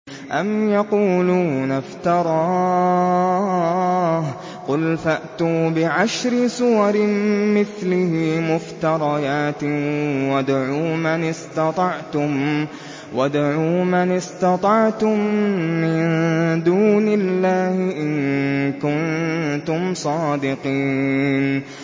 أَمْ يَقُولُونَ افْتَرَاهُ ۖ قُلْ فَأْتُوا بِعَشْرِ سُوَرٍ مِّثْلِهِ مُفْتَرَيَاتٍ وَادْعُوا مَنِ اسْتَطَعْتُم مِّن دُونِ اللَّهِ إِن كُنتُمْ صَادِقِينَ